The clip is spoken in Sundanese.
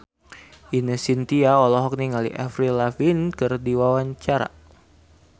Ine Shintya olohok ningali Avril Lavigne keur diwawancara